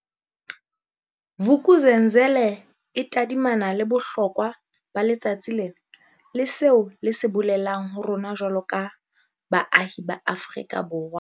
Vuk'uzenzele e tadimana le bohlokwa ba letsatsi lena le seo le se bolelang ho rona jwaloka baahi ba Afrika Borwa.